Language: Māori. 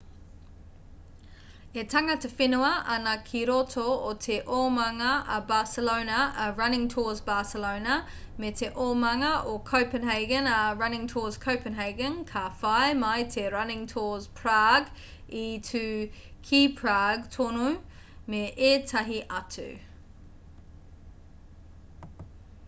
e tangata whenua ana ki roto o te omanga a barcelona a running tours barcelona me te omanga o copenhagen a running tours copenhagen ka whai mai te running tours prage i tū ki prague tonu me ētahi atu